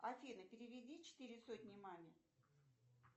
афина переведи четыре сотни маме